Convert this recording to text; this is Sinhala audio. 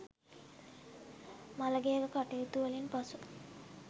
මළගෙයක කටයුතු වලින් පසු